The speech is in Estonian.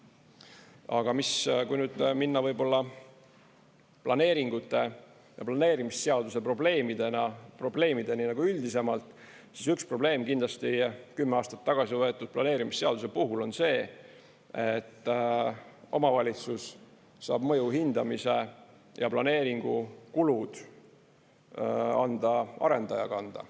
Aga kui nüüd minna võib-olla planeeringute ja planeerimisseaduse probleemideni üldisemalt, siis üks probleem kindlasti 10 aastat tagasi võetud planeerimisseaduse puhul on see, et omavalitsus saab mõju hindamise ja planeeringu kulud anda arendaja kanda.